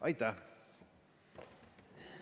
Aitäh!